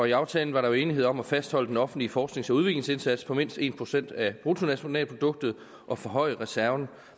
i aftalen var der enighed om at fastholde den offentlige forsknings og udviklingsindsats på mindst en procent af bruttonationalproduktet og forhøje reserven